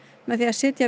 með því að setja